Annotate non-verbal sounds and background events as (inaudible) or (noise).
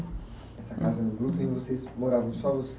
Essa casa no Broklyn vocês, moravam só (unintelligible)